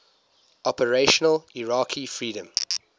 operation iraqi freedom